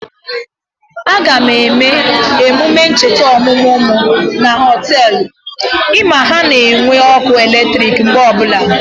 Aga m eme emume ncheta ọmụmụ mụ na Họtelụ, ị ma na ha nwere ọkụ eletrik mgbe ọbụla